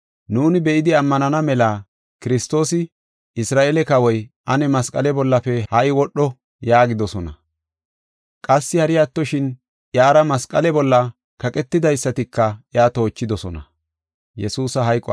nuuni be7idi ammanana mela Kiristoosi, Isra7eele Kawoy, ane masqale bollafe ha77i wodho” yaagidosona. Qassi hari attoshin, iyara masqale bolla kaqetidaysatika iya toochidosona.